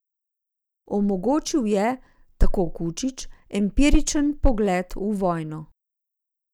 Omogočil je, tako Kučič, empiričen pogled v vojno.